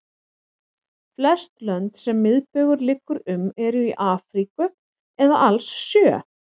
Flest lönd sem miðbaugur liggur um eru í Afríku eða alls sjö.